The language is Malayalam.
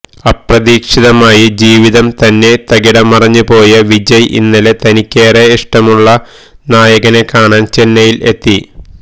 അപ്രതീക്ഷിതമായി ജീവിതം തന്നെ തകിടം മറിഞ്ഞു പോയ വിജയ് ഇന്നലെ തനിക്കേറെ ഇഷ്ടമുള്ള നായകനെ കാണാന് ചെന്നൈയില് എത്തി